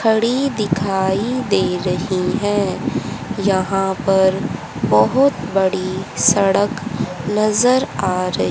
खड़ी दिखाई दे रही हैं यहां पर बहुत बड़ी सड़क नजर आ रही--